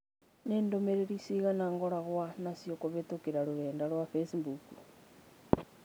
Nĩ ndũmĩrĩri ciigana ngoragwo naciokũhītũkīra rũrenda rũa facebook?